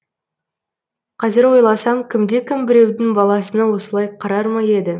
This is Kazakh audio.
қазір ойласам кімде кім біреудің баласына осылай қарар ма еді